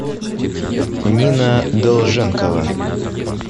нина долженкова